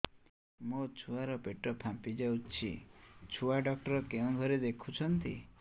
ମୋ ଛୁଆ ର ପେଟ ଫାମ୍ପି ଯାଉଛି ଛୁଆ ଡକ୍ଟର କେଉଁ ଘରେ ଦେଖୁ ଛନ୍ତି